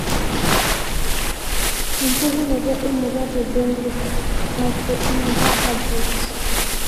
empukunoto emurua te benthic ,macroinvertbrate